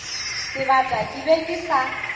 sebata ke be ke sa